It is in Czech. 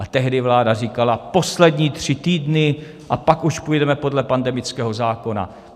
A tehdy vláda říkala: Poslední tři týdny a pak už pojedeme podle pandemického zákona.